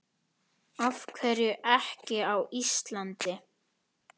Af hverju ekki á Íslandi?